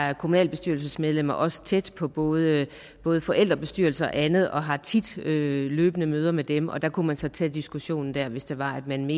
er kommunalbestyrelsesmedlemmerne også tæt på både både forældrebestyrelser og andet og har løbende møder med dem der kunne man så tage diskussionen hvis det var man